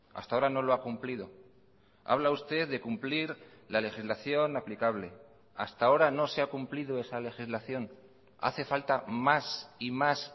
hasta ahora no lo ha cumplido habla usted de cumplir la legislación aplicable hasta ahora no se ha cumplido esa legislación hace falta más y más